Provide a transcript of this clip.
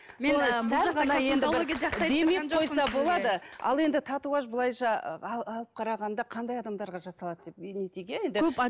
ал енді татуаж былайша алып қарағанда қандай адамдарға жасалады деп